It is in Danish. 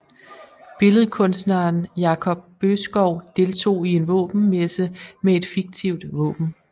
Billedkunstneren Jakob Boeskov deltog i en våbenmesse med et fiktivt våben